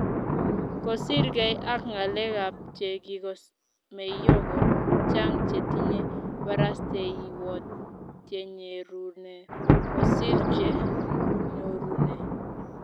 kosir gei ak ngalek ab che kiko meio ko chang chetinye barasteywot chenyerune kosir che nyorune